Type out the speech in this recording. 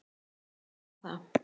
Það má alveg segja það.